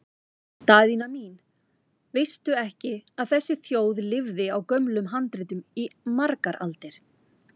Daðína mín, veistu ekki að þessi þjóð lifði á gömlum handritum í margar aldir?